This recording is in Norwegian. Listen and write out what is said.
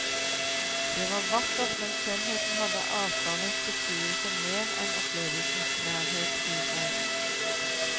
Det var vakkert, men skjønnheten hadde avstandens beskuelse mer enn opplevelsens nærhet i seg.